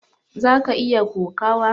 zaka iya kokawa?